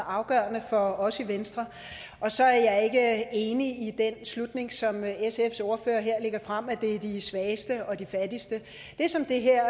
afgørende for os i venstre og så er jeg ikke enig i den slutning som sfs ordfører her lægger frem at det er de svageste og de fattigste det som det her